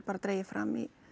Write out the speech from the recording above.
dregið fram í